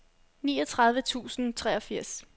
niogtredive tusind og treogfirs